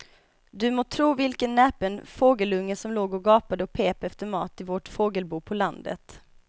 Du må tro vilken näpen fågelunge som låg och gapade och pep efter mat i vårt fågelbo på landet.